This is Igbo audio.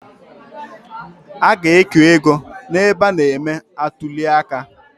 A ga-eke ego n’ebe a na –eme atuliaka